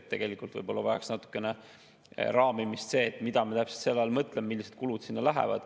Ehk tegelikult võib-olla vajaks natukene raamimist see, mida me täpselt selle all mõtleme, millised kulud sinna lähevad.